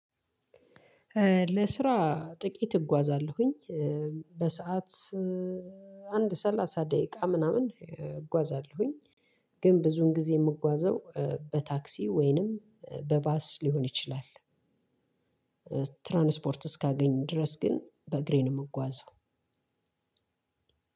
ለስራ ጥቂት እጓዛላሁኝ። በሰአት አንድ ሰላሳ ደቂቃ ምናምን እጓዛለሁኝ። ግን ብዙውን ጊዜ የምጓዘው በታክሲ ወይንም በባስ ሊሆን ይችላል። ትራንስፖርት እስካገኝ ድረስ ግን በእግሬ ነው የምጓዘው